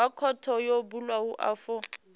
wa khothe yo bulwaho afho